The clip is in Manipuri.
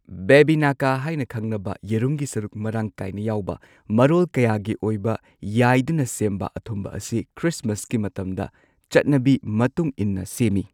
ꯕꯦꯕꯤꯅꯀꯥ ꯍꯥꯏꯅ ꯈꯪꯅꯕ ꯌꯦꯔꯨꯝꯒꯤ ꯁꯔꯨꯛ ꯃꯔꯥꯡ ꯀꯥꯏꯅ ꯌꯥꯎꯕ ꯃꯔꯣꯜ ꯀꯌꯥꯒꯤ ꯑꯣꯏꯕ ꯌꯥꯏꯗꯨꯅ ꯁꯦꯝꯕ ꯑꯊꯨꯝꯕ ꯑꯁꯤ ꯈ꯭ꯔꯤꯁꯃꯁꯀꯤ ꯃꯇꯝꯗ ꯆꯠꯅꯕꯤ ꯃꯇꯨꯡ ꯏꯟꯅ ꯁꯦꯝꯏ꯫